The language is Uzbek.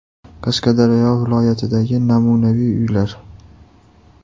Qashqadaryo viloyatidagi namunaviy uylar.